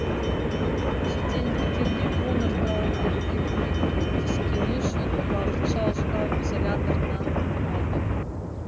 шетелдіктерге донор тауып беруге көмектескені үшін уақытша ұстау изоляторына қамалды